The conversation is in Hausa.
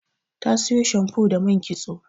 Ta siyo shamfu da man kitso.